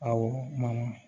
Awɔ